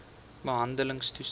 behandeltoestande